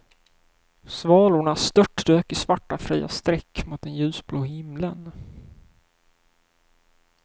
Svalorna störtdök i svarta fria streck mot den ljusblå himlen.